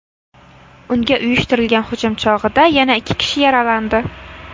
Unga uyushtirilgan hujum chog‘ida yana ikki kishi yaralandi.